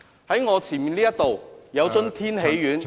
在我前面有一樽天喜丸......